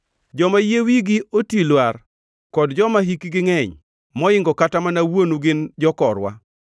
Joma yie wigi otwi lwar kod joma hikgi ngʼeny moingo kata mana wuonu gin jokorwa.